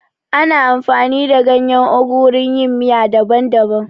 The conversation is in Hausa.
Ana amfani da ganyen ugu wurin yin miya daban daban